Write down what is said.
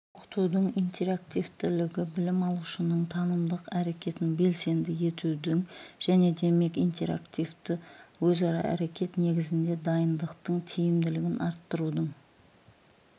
оқытудың интерактивтілігі білім алушының танымдық әрекетін белсенді етудің және демек интерактивтік өзара әрекет негізінде дайындықтың тиімділігін арттырудың